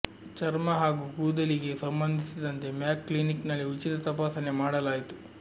ಚರ್ಮ ಹಾಗೂ ಕೂದಲಿಗೆ ಸಂಬಂಧಿಸಿದಂತೆ ಮ್ಯಾಕ್ ಕ್ಲಿನಿಕ್ ನಲ್ಲಿ ಉಚಿತ ತಪಾಸಣೆ ಮಾಡಲಾಯಿತು